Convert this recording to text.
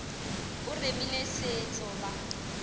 o remile se tlo ba